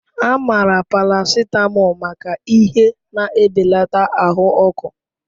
A maara paracetamol maka ihe na-ebelata ahụ ọkụ.